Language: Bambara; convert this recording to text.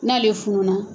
N'ale fununa